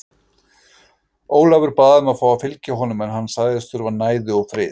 Ólafur bað um að fá að fylgja honum en hann sagðist þurfa næði og frið.